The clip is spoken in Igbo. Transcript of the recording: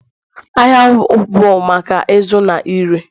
Ahịa bụ maka ịzụ na ire